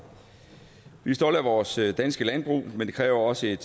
vi er stolte af vores danske landbrug men det kræver også et